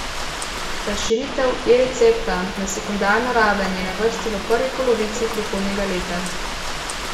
Razširitev eRecepta na sekundarno raven je na vrsti v prvi polovici prihodnjega leta.